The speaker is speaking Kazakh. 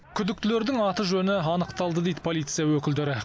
күдіктілердің аты жөні анықталды дейді полиция өкілдері